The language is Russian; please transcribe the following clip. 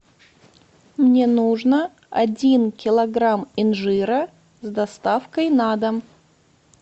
мне нужно один килограмм инжира с доставкой на дом